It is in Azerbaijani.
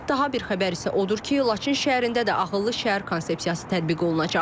Daha bir xəbər isə odur ki, Laçın şəhərində də ağıllı şəhər konsepsiyası tətbiq olunacaq.